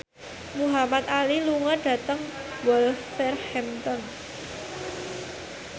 Muhamad Ali lunga dhateng Wolverhampton